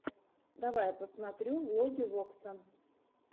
давай я посмотрю влоги вокса